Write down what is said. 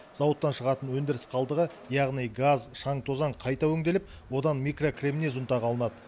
зауыттан шығатын өндіріс қалдығы яғни газ шаң тозаң қайта өңделіп одан микрокремнез ұнтағы алынады